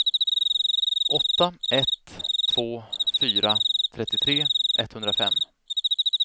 åtta ett två fyra trettiotre etthundrafem